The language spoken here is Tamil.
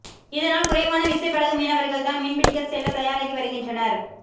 இதனால் குறைவான விசைப்படகு மீனவர்கள் தான் மீன்பிடிக்க செல்ல தயாராகி வருகின்றனர்